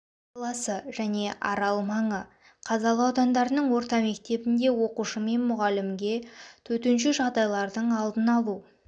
қаласы және арал мен қазалы аудандарының орта мектебінде оқушы мен мұғалімге төтенше жағдайлардың алдын алу